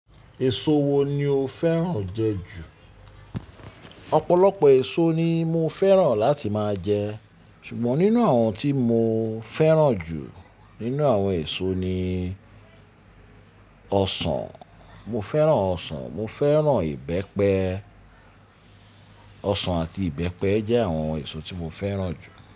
Èso wo ni o fẹ́ràn jẹ ju? Ọ̀pọ̀lọpọ̀ èso ni mo fẹ́ràn láti máa jẹ ṣùgbọ́n nínú àwọn tí mo fẹ́ràn jù nínú àwọn èso ni ọsàn. Mo fẹ́ràn ọsàn, mo fẹ́ràn ìbẹ́pẹ. Ọsàn àti ìbẹ́pẹ jẹ́ àwọn èso tí mo fẹ́ràn jù.